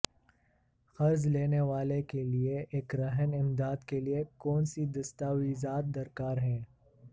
قرض لینے والے کے لئے ایک رہن امداد کے لیے کون سی دستاویزات درکار ہیں